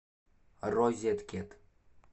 розеткед